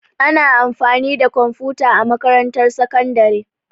Ana amfani da kwamfuta a makarantar sakandare.